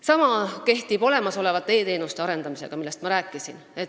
Sama kehtib olemasolevate e-teenuste arendamise kohta, millest ma rääkisin.